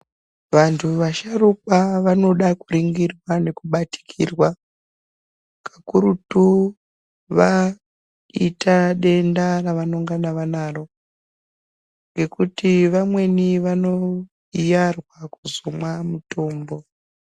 Vantu vasharukwa vanoda kuringirwa nekubatikirwa kakurutu vaita denda ravanongana vanaro ngekuti vamweni vanoiyarwa kuzomwa mutombo.